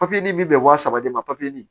Papiye bi bɛn wa saba de ma papiye nin